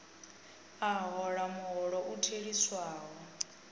a hola muholo u theliswaho